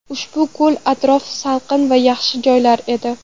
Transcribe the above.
Ushbu ko‘l atrofi salqin va yaxshi joylar edi.